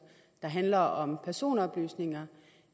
handler om personoplysninger